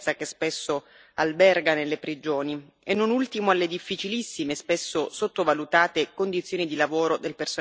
alberga nelle prigioni e, non ultimo, alle difficilissime e spesso sottovalutate condizioni di lavoro del personale penitenziario.